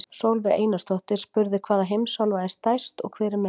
Sólveig Einarsdóttir spurði: Hvaða heimsálfa er stærst og hver er minnst?